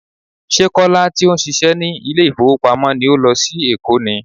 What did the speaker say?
Ṣé Kọ́lá tí ó ń ṣíṣe ní ilé ìfowópamọ́ ni ó lọ sí Èkó ni?